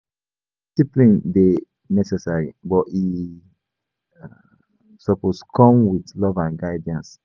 Discipline dey necessary, but e suppose come with love and guidance.